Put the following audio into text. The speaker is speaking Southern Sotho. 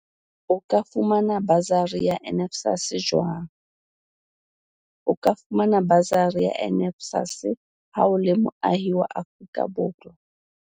O ka fumana basari ya NSFAS jwang O ka fumana basari ya NSFAS ha o le moahi wa Afrika